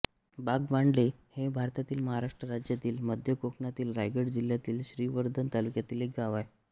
बागमांडले हे भारतातील महाराष्ट्र राज्यातील मध्य कोकणातील रायगड जिल्ह्यातील श्रीवर्धन तालुक्यातील एक गाव आहे